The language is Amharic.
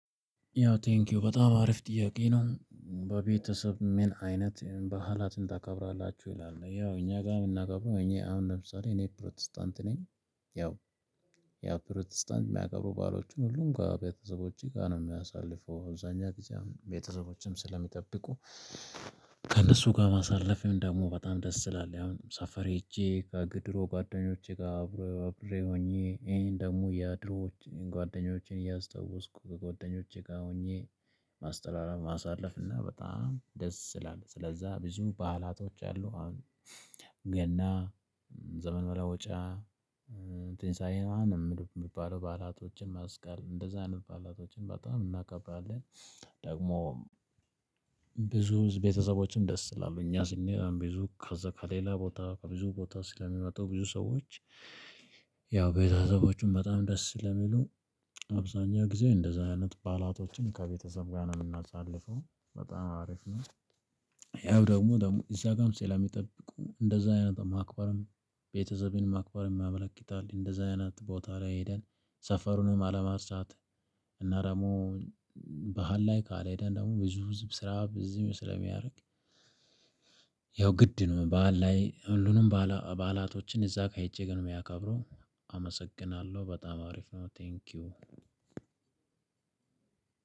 ያው ቴንኪው በጣም አሪፍ ጥያቄ ነው "በቤተሰብ ምን አይነት በዓላትን ታከብራላችሁ?" ይላል። ያው እኛ ጋር የምናከብረው እኛ አሁን ለምሳሌ እኔ ፕሮቴስታንት ነኝ ያው ያው ፕሮቴስታንት የሚያከብሩ ባዕሎችን ሁሉም ጋር ከቤተሰቦቼ ጋር ነው የምናሳልፈው አብዛኛውን ጊዜ ቤተሰቦቼም ስለሚጠብቁ። ከእነሱ ጋር ማሳለፍም ደግሞ በጣም ደስ ስለሚሆን አሁን ሰፈር ሄጄ ከድሮ ጓደኞቼ ጋር አብሮ አብሬ ሆኜ ወይም ደግሞ የድሮ ጓደኞቼን እያስታወስኩ ከጓደኞቼ ጋር ሆኜ ማስተላለፍ ማሳለፍ እና በጣም ደስ ስለሚል። ስለዛ ብዙ በዓላቶች አሉ አሁን ገና ዘመን መለወጫ ትንሳኤ ነው ማነው የምትባለው ባዕላቶችን መስቀል እንደዛ አይነት ባዕላቶችን በጣም እናከብራለን። ደግሞ ብዙ ቤተሰቦችን ደስ ይላል። እኛ ስንሄድ አሁን ብዙ ከዛ ከሌላ ቦታ ብዙ ቦታ ስለሚመጡ ብዙ ሰዎች ያው ቤተሰቦቹም በጣም ደስ ስለሚሉ አብዛኛው ጊዜ እንደዚህ አይነት ባዕላቶችን ከቤተሰብ ጋር ነው የምናሳልፈው በጣም አሪፍ ነው። ያው ደግሞ ደግሞ እዛ ጋርም ስለሚጠብቁ እንደዛ አይነት ማክበርም ቤተሰብንም ማክበርም ያመለክታል። እንደዛ አይነት ቦታ ላይ ሄደን ሰፈሩንም አለመርሳት። እና ደግሞ ባህል ላይ ካልሄድን ደግሞ ብዙ ህዝብ ስራ ብዙ ስለሚያልቅ ያው ግድ ነው። በዓል ላይ ሁሉንም በዓላቶችን እዛ ጋር ሄጄ ነው የማከብረው። አመሰግናለሁ በጣም አሪፍ ነው 'ቴንኪው'!